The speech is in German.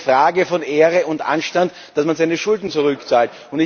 Das ist eine Frage von Ehre und Anstand, dass man seine Schulden zurückzahlt.